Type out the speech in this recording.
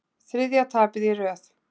Þriðja tapið í röð